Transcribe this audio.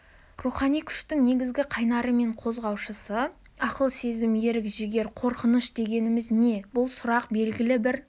рухани күштің негізгі қайнары мен қозғаушысы ақыл сезім ерік-жігер қорқыныш дегеніміз не бұл сұрақ белгілі бір